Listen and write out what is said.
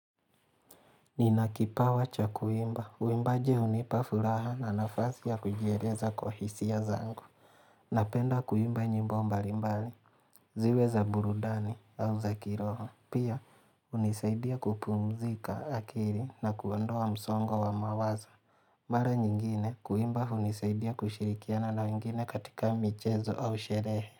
Nina kipawa cha kuimba, uimbaji hunipa furaha na nafasi ya kujieleza kwa hisia zangu Napenda kuimba nyimbo mbali mbali, ziwe za burudani au za kiroho Pia, hunisaidia kupumzika akili na kuondoa msongo wa mawazo Mara nyingine, kuimba hunisaidia kushirikiana na wengine katika michezo au sherehe.